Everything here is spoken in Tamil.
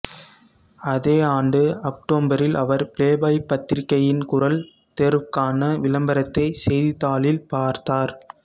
அதே ஆண்டு அக்டோபரில் அவர் பிளேபாய் பத்திரிகையின் குரல் தேர்வுக்கான விளம்பரத்தைச் செய்தித்தாளில் பார்த்தார்